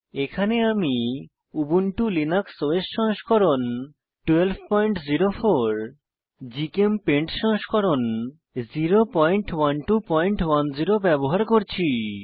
এখানে আমি Ubuntu Linux OS সংস্করণ 1204 জিচেমপেইন্ট সংস্করণ 01210 ব্যবহার করছি